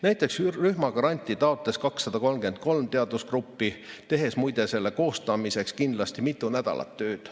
Näiteks rühmagranti taotles 233 teadusgruppi, tehes, muide, selle koostamiseks kindlasti mitu nädalat tööd.